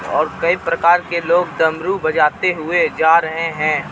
ओर कइ प्रकार के लोग डमरू बजाते हुए जा रहे हैं.